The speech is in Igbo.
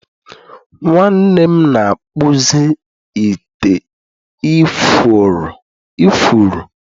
nwanne m na-akpụzi ite ifuru